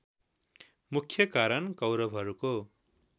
मुख्य कारण कौरवहरूको